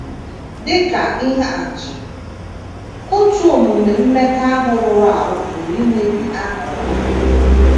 Dị ka ihe atụ, otu omume mmekọahụ rụrụ arụ pụrụ imebi aha ọma.